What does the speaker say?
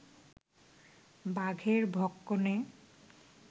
বাঘের ভক্ষণে